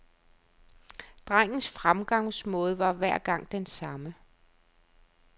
Drengens fremgangsmåde var hver gang den samme.